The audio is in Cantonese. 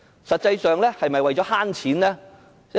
實際上，是否為了省錢呢？